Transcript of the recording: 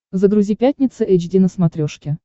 загрузи пятница эйч ди на смотрешке